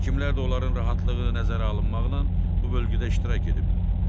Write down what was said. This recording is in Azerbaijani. Həkimlər də onların rahatlığı nəzərə alınmaqla bu bölgüdə iştirak ediblər.